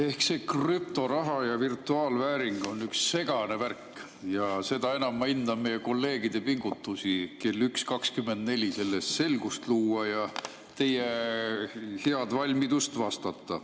Eks see krüptoraha ja virtuaalvääring ole üks segane värk ja seda enam ma hindan meie kolleegide pingutusi kell 1.24 selles selgust luua ja teie head valmidust vastata.